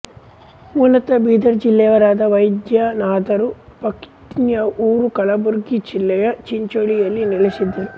ಮೂಲತಃ ಬೀದರ್ ಜಿಲ್ಲೆಯವರಾದ ವೈಜನಾಥರು ಪತ್ನಿಯ ಊರು ಕಲಬುರ್ಗಿ ಜಿಲ್ಲೆಯ ಚಿಂಚೋಳಿಯಲ್ಲಿ ನೆಲೆಸಿದ್ದರು